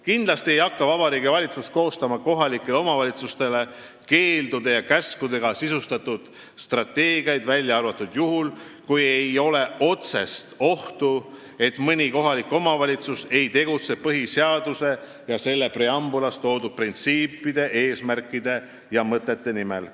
Kindlasti ei hakka Vabariigi Valitsus kohalikele omavalitsustele koostama keeldude ja käskudega sisustatud strateegiaid, välja arvatud juhul, kui on oht, et mõni kohalik omavalitsus ei tegutse põhiseaduse alusel ning selle preambulis toodud printsiipide, eesmärkide ja mõtete nimel.